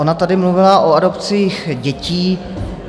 Ona tady mluvila o adopcích dětí.